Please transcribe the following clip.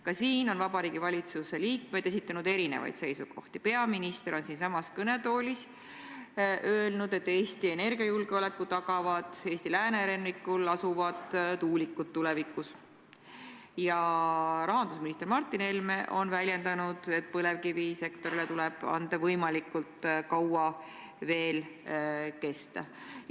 Ka selle kohta on Vabariigi Valitsuse liikmed esitanud erinevaid seisukohti: peaminister on siinsamas kõnetoolis öelnud, et Eesti energiajulgeoleku tagavad tulevikus Eesti läänerannikul asuvad tuulikud, ja rahandusminister Martin Helme on väljendanud, et põlevkivisektorile tuleb anda võimalus veel võimalikult kaua kesta.